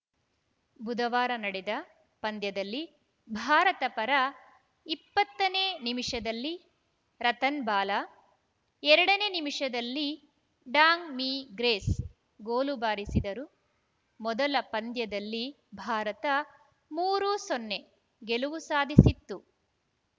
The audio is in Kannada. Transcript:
ಬುಧವಾರ ನಡೆದ ಪಂದ್ಯದಲ್ಲಿ ಭಾರತ ಪರ ಇಪ್ಪತ್ತ ನೇ ನಿಮಿಷದಲ್ಲಿ ರತನ್‌ಬಾಲಾ ಎರಡ ನೇ ನಿಮಿಷದಲ್ಲಿ ಡಾಂಗ್‌ಮೀ ಗ್ರೇಸ್‌ ಗೋಲು ಬಾರಿಸಿದರು ಮೊದಲ ಪಂದ್ಯದಲ್ಲಿ ಭಾರತ ಮೂರು ಸೊನ್ನೆ ಗೆಲುವು ಸಾಧಿಸಿತ್ತು